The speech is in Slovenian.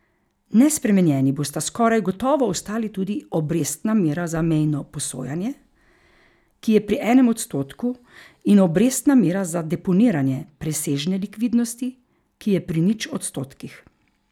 Nespremenjeni bosta skoraj gotovo ostali tudi obrestna mera za mejno posojanje, ki je pri enem odstotku, in obrestna mera za deponiranje presežne likvidnosti, ki je pri nič odstotkih.